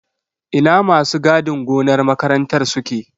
Ina masu gadin gonar makarantar suke?